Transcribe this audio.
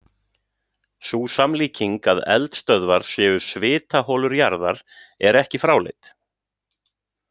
Sú samlíking að eldstöðvar séu „svitaholur jarðar“ er ekki fráleit.